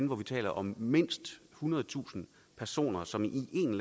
hvor vi taler om mindst ethundredetusind personer som i en